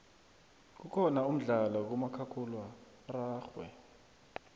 kukhona umdlalo kamakhakhulwa ararhwe